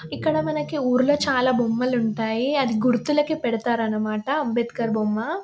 ఇక్కడ మనకి ఊరిలో చాలా బొమ్మలు ఉంటాయి. అది గుర్తులకి పెడతారు అని మాట అంబేద్కర్ బొమ్మ.